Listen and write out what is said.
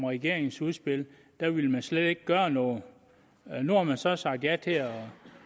regeringens udspil slet ikke gøre noget nu har man så sagt ja til at